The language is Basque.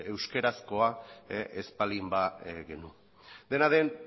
euskerazkoa ez baldin ba genuen dena den